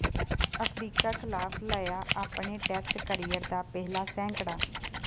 Africa ਖਿਲਾਫ ਲਾਇਆ ਆਪਣੇ ਟੈਸਟ ਕਰੀਅਰ ਦਾ ਪਹਿਲਾ ਸੈਂਕੜਾ